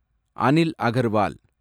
Anil Agarwal